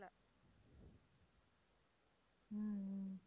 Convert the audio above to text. உம் உம்